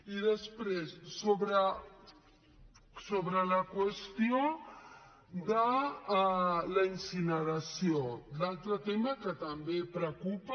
i després sobre la qüestió de la incineració l’altre tema que també preocupa